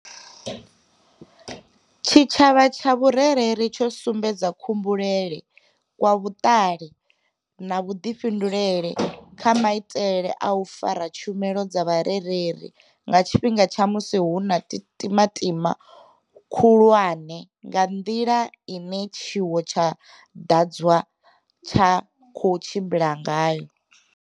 Tshi tshavha tsha vhure reli tsho sumbedza khumbulele kwa vhuṱali na vhuḓifhinduleli kha maitele a u fara tshumelo dza vhurereli nga tshifhinga tsha musi hu na u timatima khulwane kha nḓila ine tshiwo tsha dwadze tsha khou tshimbila ngayo.